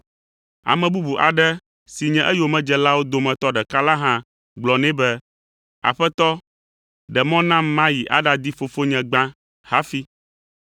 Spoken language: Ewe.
Ame bubu aɖe si nye eyomedzelawo dometɔ ɖeka la hã gblɔ nɛ be, “Aƒetɔ, ɖe mɔ nam mayi aɖaɖi fofonye gbã hafi.”